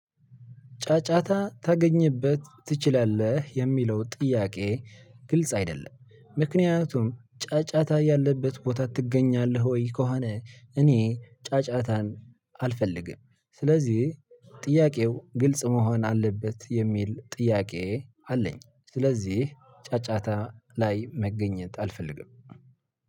ጫጫታ ታገኝበት ትችላለህ የሚለው ጥያቄ? ግልጽ አይደለም ምክንያቱም ጫጫታ ያለበት ቦታ ትገኛለህ ወይ ከሆነ እኔ ጫጫታን አልፈልግም። ስለዚህ ጥያቄው ግልጽ መሆን አለበት የሚል ጥያቄ አለኝ። ስለዚህ ጫጫታ ላይ መገኘት አልፈልግም።